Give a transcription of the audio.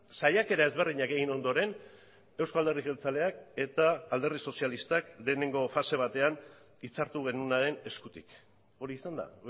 saiakera ezberdinak egin ondoren euzko alderdi jeltzaleak eta alderdi sozialistak lehenengo fase batean hitzartu genuenaren eskutik hori izan da